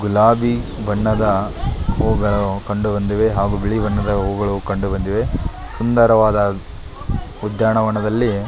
ಗುಲಾಬಿ ಬಣ್ಣದ ಹೂವುಗಳು ಕಂಡುಬಂದಿವೆ ಹಾಗು ಬಿಳಿ ಬಣ್ಣದ ಹೂವುಗಳು ಕಂಡುಬಂದಿವೆ ಸುಂದರವಾದ ಉದ್ಯಾನವನದಲ್ಲಿ --